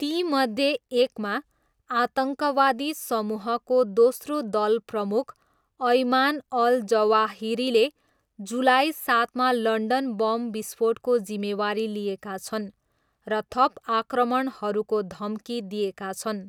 तीमध्ये एकमा, आतङ्कवादी समूहको दोस्रो दलप्रमुख अयमान अल जवाहिरीले जुलाई सातमा लन्डन बम विस्फोटको जिम्मेवारी लिएका छन् र थप आक्रमणहरूको धम्की दिएका छन्।